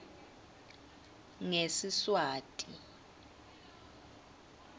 ngesiswati